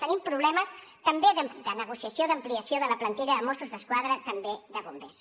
tenim problemes també de negociació d’ampliació de la plantilla de mossos d’esquadra també de bombers